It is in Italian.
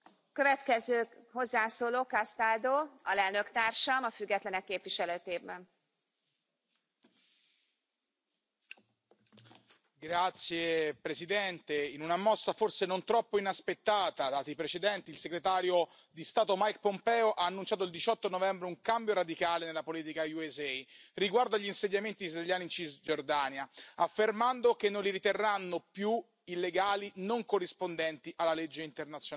Signora Presidente, onorevoli colleghi, in una mossa forse non troppo inaspettata, dati i precedenti, il Segretario di Stato Mike Pompeo ha annunciato il 18 novembre un cambio radicale nella politica USA riguardo agli insediamenti israeliani in Cisgiordania, affermando che non li riterranno più illegali, non corrispondenti alla legge internazionale.